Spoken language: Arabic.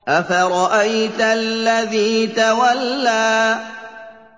أَفَرَأَيْتَ الَّذِي تَوَلَّىٰ